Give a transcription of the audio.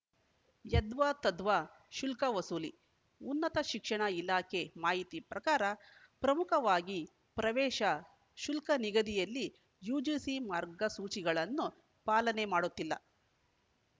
ಯದ್ವಾತದ್ವಾ ಶುಲ್ಕ ವಸೂಲಿ ಉನ್ನತ ಶಿಕ್ಷಣ ಇಲಾಖೆ ಮಾಹಿತಿ ಪ್ರಕಾರ ಪ್ರಮುಖವಾಗಿ ಪ್ರವೇಶ ಶುಲ್ಕ ನಿಗದಿಯಲ್ಲಿ ಯುಜಿಸಿ ಮಾರ್ಗಸೂಚಿಗಳನ್ನು ಪಾಲನೆ ಮಾಡುತ್ತಿಲ್ಲ